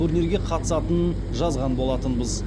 турнирге қатысатынын жазған болатынбыз